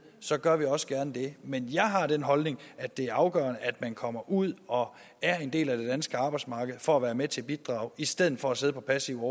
så gør jeg også gerne det men jeg har den holdning at det er afgørende at man kommer ud og er en del af det danske arbejdsmarked for at være med til at bidrage i stedet for at sidde på passiv